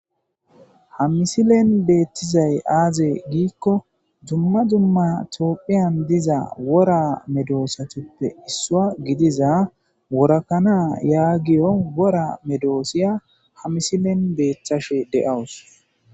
hamisilen beettizay aaze giikko dumma dumma toophiyan diza wora medoosatuppe issua gidiza worakanaa yaagiyo wora medoosiya ha misilen beeththashe de7awus